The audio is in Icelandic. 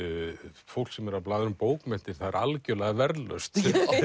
fólk sem er að blaðra um bókmenntir það er algjörlega verðlaust